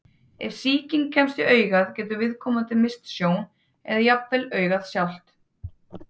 Ef sýking kemst í augað getur viðkomandi misst sjón, eða jafnvel augað sjálft.